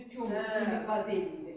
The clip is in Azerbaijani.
Yox idi, o ümumi silib qaz eləyiblər.